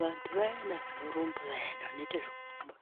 Vantu vayana vanorumba vayana vanoita zvekurumba